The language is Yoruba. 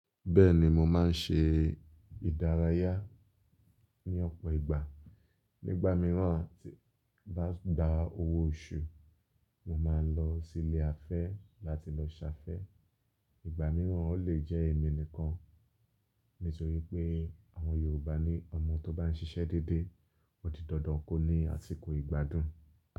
Bẹ́ẹ̀ni mo máa ń ṣe ìdárayá ní ọ̀pọ̀ ìgbà. Nígbà mìíràn tí ń bá gba owó oṣù, mo máa ń lọ sí ilé afẹ́ láti lọ ṣafẹ́. Ìgbà mìíràn ó lè jẹ́ èmi nìkan nítorí pé àwọn Yorùbá ní Ọmọ tó bá ń ṣiṣẹ́ dédé ó di dandan kó ní àsìkò ìgbádùn.